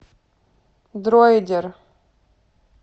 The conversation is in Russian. дроидер